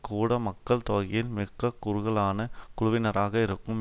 கூட மக்கள் தொகையில் மிக குறுகலான குழுவினராக இருக்கும்